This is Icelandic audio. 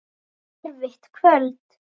Erfitt kvöld.